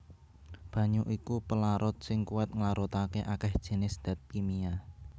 Banyu iku pelarut sing kuwat nglarutaké akèh jinis dat kimia